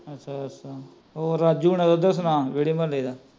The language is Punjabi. ਅੱਛਾ ਅੱਛਾ, ਰਾਜੂ ਹੋਣਾ ਦਾ ਸੁਣਾ ਕਹਿੰਦੇ ਮੁਹੱਲੇ ਦਾ ਐ